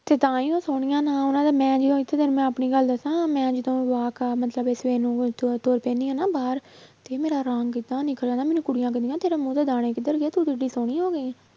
ਤੇ ਤਾਂ ਹੀ ਉਹ ਸੋਹਣੀਆਂ ਤੈਨੂੰ ਮੈਂ ਆਪਣੀ ਗੱਲ ਦੱਸਾਂ ਮੈਂ ਜਦੋਂ walk ਕ~ ਮਤਲਬ ਇਹ ਸਵੇਰ ਨੂੰ ਬਾਹਰ ਤੇ ਮੇਰਾ ਰੰਗ ਇੰਨਾ ਨਿਖਰਿਆ ਨਾ ਮੈਨੂੰ ਕੁੜੀਆਂ ਕਹਿੰਦੀਆਂ ਤੇਰਾ ਮੂੰਹ ਤੇ ਦਾਣੇ ਕਿੱਧਰ ਗਏ ਤੂੰ ਸੋਹਣੀ ਹੋ ਗਈ ਹੈ